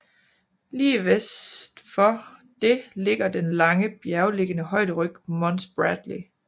Lige vest for det ligger den lange bjerglignende højderyg Mons Bradley